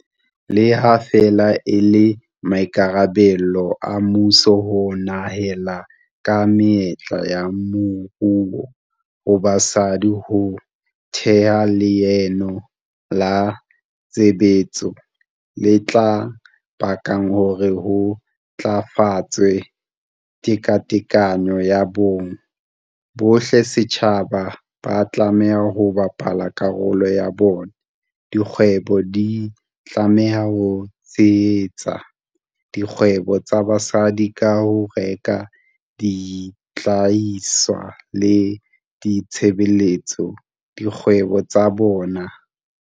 Le ha feela e le maikarabelo a mmuso ho nehela ka menyetla ya moruo ho basadi ho theha leano la tshebetso le tla bakang hore ho ntlafatswe tekatekano ya bong, bohle setjhabeng ba tlameha ho bapala karolo ya bona. Dikgwebo di tlameha ho tshehetsa dikgwebo tsa basadi ka ho reka dihlahiswa le ditshebeletso dikgwebong tsa bona.